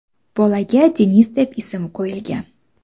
Bolaga Deniz deb ism qo‘yilgan.